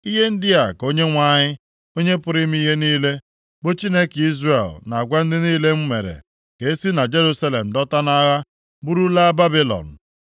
Ihe ndị a ka Onyenwe anyị, Onye pụrụ ime ihe niile, bụ Chineke Izrel na-agwa ndị niile m mere ka e si na Jerusalem dọta nʼagha buru laa Babilọn,